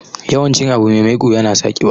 Yawan cin abu me maiƙo yana sa ƙiba.